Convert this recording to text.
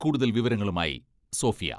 കൂടുതൽ വിവരങ്ങളുമായി സോഫിയ.......